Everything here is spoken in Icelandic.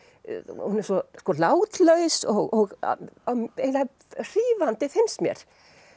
hún er svo látlaus og eiginlega hrífandi finnst mér